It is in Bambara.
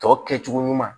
Tɔ kɛcogo ɲuman